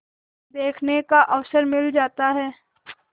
देखने का अवसर मिल जाता है